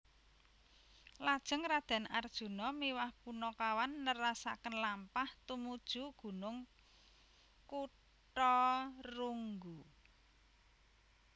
Lajeng Raden Arjuna miwah Punakawan nerasaken lampah tumuju Gunung Kutharunggu